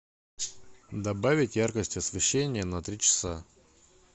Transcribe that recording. добавить яркость освещения на три часа